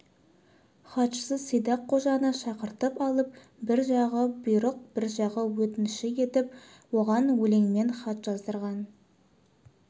хатшысы сидақ қожаны шақыртып алып бір жағы бұйрық бір жағы өтініші етіп оған өлеңмен хат жаздырған